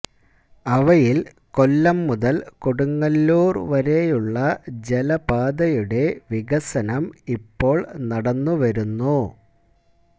അവയിൽ കൊല്ലം മുതൽ കൊടുങ്ങല്ലൂർ വരെയുള്ള ജലപാതയുടെ വികസനം ഇപ്പോൾ നടന്നു വരുന്നു